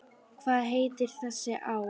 Hvað heitir þessi á?